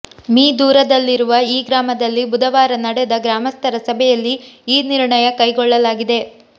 me ದೂರದಲ್ಲಿರುವ ಈ ಗ್ರಾಮದಲ್ಲಿ ಬುಧವಾರ ನಡೆದ ಗ್ರಾಮಸ್ಥರ ಸಭೆಯಲ್ಲಿ ಈ ನಿರ್ಣಯ ಕೈಗೊಳ್ಳಲಾಗಿದೆ